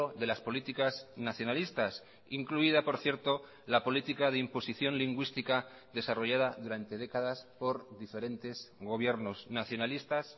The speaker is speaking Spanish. de las políticas nacionalistas incluida por cierto la política de imposición lingüística desarrollada durante décadas por diferentes gobiernos nacionalistas